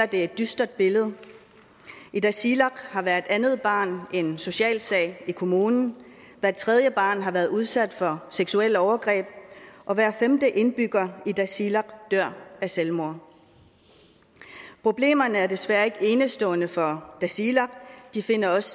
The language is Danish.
et dystert billede i tasiilaq har hvert andet barn en social sag i kommunen hver tredje barn har været udsat for seksuelle overgreb og hver femte indbygger i tasiilaq dør af selvmord problemerne er desværre ikke enestående for tasiilaq de findes også